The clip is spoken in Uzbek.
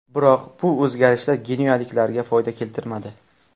Biroq bu o‘zgarishlar genuyaliklarga foyda keltirmadi.